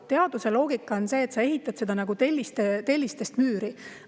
Teaduse loogika on see, et seda ehitatakse nagu tellistest müüri.